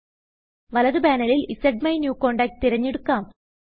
വലത് പാനലിൽ സ്മൈന്യൂകോണ്ടാക്ട് തിരഞ്ഞെടുക്കാം